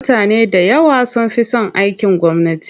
Mutane da yawa sun fi son aikin gwamnati.